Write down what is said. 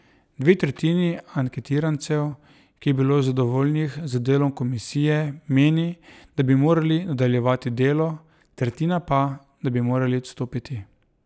Dve tretjini anketirancev, ki je bilo zadovoljnih z delom komisije, meni, da bi morali nadaljevati delo, tretjina pa, da bi morali odstopiti.